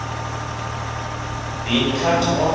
been cut off